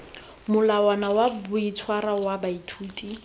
molawana wa boitshwaro wa baithuti